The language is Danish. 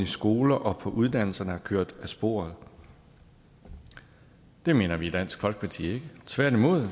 skoler og på uddannelserne er kørt af sporet det mener vi ikke i dansk folkeparti tværtimod